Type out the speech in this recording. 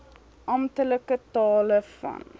amptelike tale van